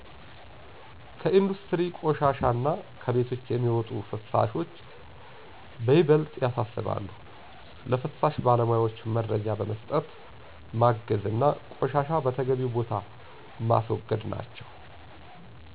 ከኢንዱስትሪ ቆሻሻ እና ከቤቶች የሚወጡ ፍሳሾች በይበልጥ ያሣስባሉ። ለፍሳሽ ባለሞያወች መረጃ በመስጠት ማገዝ አና ቆሻሻን በተገቢው ቦታ ማስወገድ ናቸው